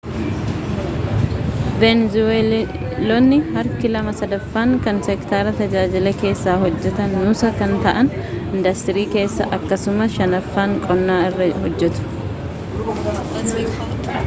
veenzuweelonni harki lama sadaffaaan kan sektara tajaajilaa keessa hojjetan nuusa kan ta'an indastrii keessa akkasumas shanaffaan qonna irra hojjetu